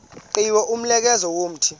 qhiwu umnqamlezo womthi